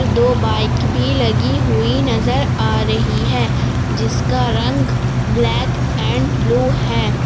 दो बाइक भी लगी हुई नजर आ रही है जिसका रंग ब्लैक एंड ब्लू है।